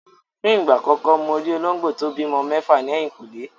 Fún ìgbà àkọ́kọ́ mo rí olóńgbò tí ó bímọ mẹ́fà ní ẹ̀yìnkùlé.